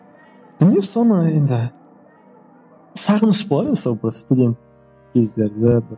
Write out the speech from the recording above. білмеймін соны енді сағыныш болады сол бір студент кездерде бір